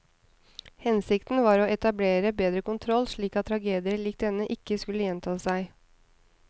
Hensikten var å etablere bedre kontroll slik at tragedier lik denne ikke skulle gjenta seg.